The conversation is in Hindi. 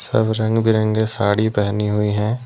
अब रंग बिरंगे साड़ी पहनी हुई हैं।